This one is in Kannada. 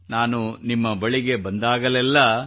ನಾನು ನಿಮ್ಮ ಬಳಿಗೆ ಬಂದಾಗಲೆಲ್ಲಾ